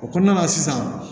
O kɔnɔna na sisan